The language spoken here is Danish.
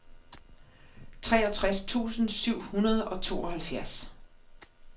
treogtres tusind syv hundrede og tooghalvfjerds